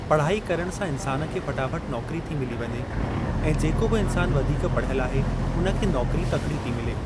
पढ़ाई करण सां इंसान खे फटाफट नोकरी थी मिली वञे ऐं जेको बि इंसान वधीक पढ़ियल आहे उन खे नोकरी तकड़ी थी मिले।